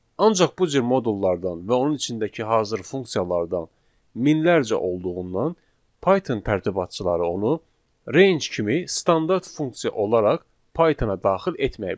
Ancaq bu cür modullardan və onun içindəki hazır funksiyalardan minlərcə olduğundan Python tərtibatçıları onu range kimi standart funksiya olaraq Python-a daxil etməyə bilər.